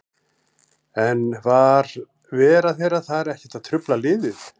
En var vera þeirra þar ekkert að trufla liðið?